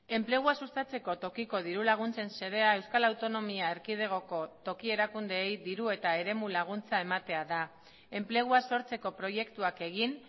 enplegua sustatzeko tokiko dirulaguntzen xedea euskal autonomia erkidegoko toki erakundeei diru eta eremu laguntza ematea da enplegua sortzeko proiektuak egin